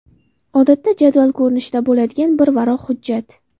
Odatda jadval ko‘rinishida bo‘ladigan bir varaq hujjat.